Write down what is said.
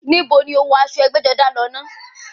Níbo ni o wọ aṣọ ẹgbẹ́-jọdá náà lọ?